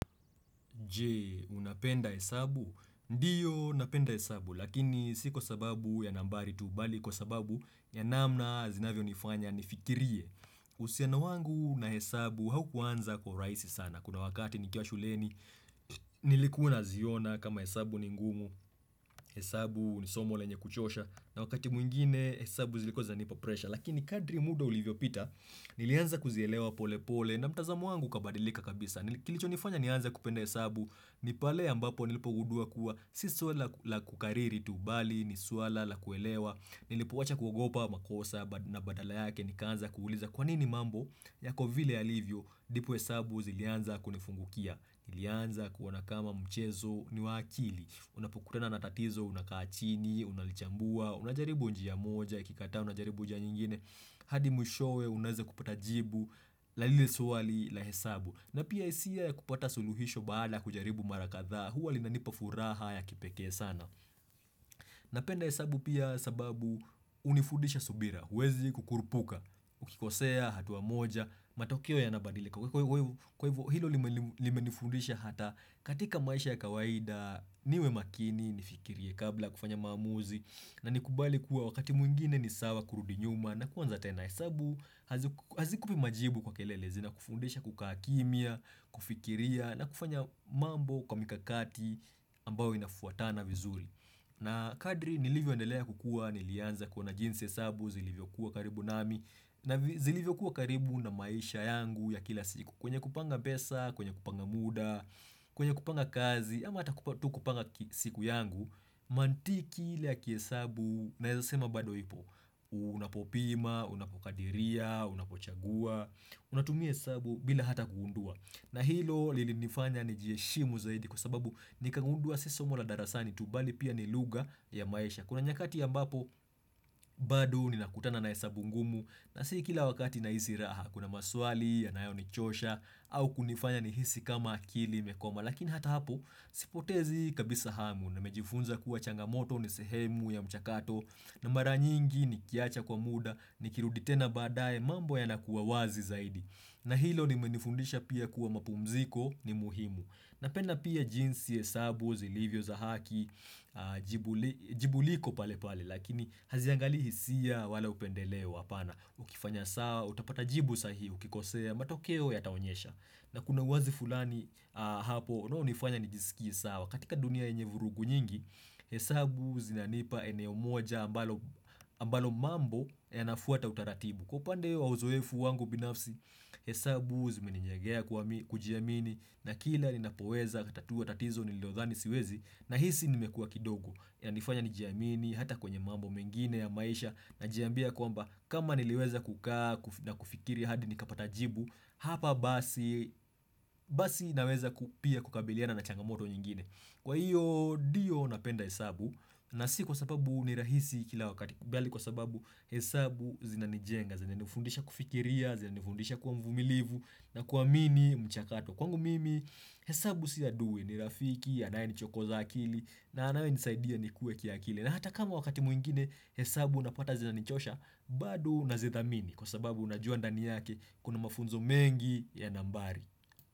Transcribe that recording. Je, unapenda hesabu? Ndiyo napenda hesabu, lakini si kwa sababu ya nambari tu, bali kwa sababu ya namna zinavyo nifanya nifikirie. Usiano wangu na hesabu haukuanza kwa urahisi sana. Kuna wakati nikiwa shuleni, nilikuwa naziona kama hesabu ni ngumu, hesabu ni somo lenye kuchosha, na wakati mwingine hesabu zilikuwa nipa presha. Lakini kadri muda ulivyo pita, nilianza kuzielewa pole pole na mtazamo wangu ukabadilika kabisa. Kilicho nifanya nianza kupenda hesabu ni pale ambapo nilipo gundua kuwa sistori la kukariri tu bali, nisuala, la kuelewa, nilipo wacha kugopa makosa na badala yake nikanza kuuliza kwanini mambo yako vile yalivyo ndipo hesabu zilianza kunifungukia, nilianza kuona kama mchezo ni wa akili, unapo kutana na tatizo, unaka chini, unalichambua, unajaribu njia moja, ikikata unajaribu njia nyingine, hadi mwishowe unaeza kupata jibu, la lile swali la hesabu. Na pia hisia ya kupata suluhisho baada kujaribu marakadha huwa lina nipa furaha ya kipeke sana. Napenda hesabu pia sababu unifundisha subira, uwezi kukurupuka, ukikosea, hatuwa moja, matokeo yana badilika kwa hivyo hilo lime nifundisha hata katika maisha ya kawaida, niwe makini, nifikirie kabla kufanya mamuzi, na nikubali kuwa wakati mwingine ni sawa kurudi nyuma na kuwanza tena hesabu, hazi kupi majibu kwa kelele zina kufundisha kuka kimia, kufikiria na kufanya mambo kwa mikakati ambao inafuatana vizuri na kadri nilivyo endelea kukua, nilianza kuona jinsi hesabu, zilivyo kuwa karibu nami. Na zilivyo kuwa karibu na maisha yangu ya kila siku, kwenye kupanga pesa, kwenye kupanga muda, kwenye kupanga kazi, ama hata kupanga siku yangu mantiki ile ya kia hesabu naeza sema bado ipo. Unapopima, unapokadiria, unapochagua unatumia hesabu bila hata kuundua na hilo lili nifanya ni jieshimu zaidi kwa sababu nikangundua si somo la darasani tu bali pia ni lugha ya maisha. Kuna nyakati ambapo bado nina kutana na hesabu ngumu na si kila wakati naisi raha, kuna maswali yanayo nichosha au kunifanya nihisi kama akili imekoma, lakini hata hapo sipotezi kabisa hamu nime jifunza kuwa changamoto ni sehemu ya mchakato na mara nyingi nikiacha kwa muda ni kirudi tena badaye mambo yana kuwa wazi zaidi, na hilo imeni fundisha pia kuwa mapumziko ni muhimu. Napenda pia jinsi hesabu zilivyo za haki jibu liko pale pale lakini haziangali hisia wala upendelewa apana ukifanya sawa utapata jibu sahihi ukikosea matokeo yata onyesha na kuna wazi fulani hapo unao nifanya nijisiki sawa katika dunia enye vurugu nyingi, hesabu zinanipa eneo moja ambalo ambalo mambo yana fuata utaratibu. Kwa upande wa uzoefu wangu binafsi, hesabu zimeni jengea kujiamini na kila ni napoweza tatua tatizo nililo dhani siwezi nahisi nime kuwa kidogo, yanifanya nijiamini hata kwenye mambo mengine ya maisha na jiambia kwamba kama niliweza kukaa na kufikiri hadi nikapata jibu, hapa basi naweza pia kukabiliana na changamoto nyingine. Kwa hiyo ndiyo napenda hesabu na si kwa sababu ni rahisi kila wakati ubali kwa sababu hesabu zina nijenga, zina nifundisha kufikiria zina nifundisha kuwa mvumilivu na kuwa amini mchakato. Kwangu mimi hesabu si adui, ni rafiki anaye ni chokoza akili na anaye nisaidia ni kue kia akili. Na hata kama wakati mwingine hesabu napata zina nichosha bado nazi dhamini kwa sababu unajua ndani yake kuna mafunzo mengi ya nambari.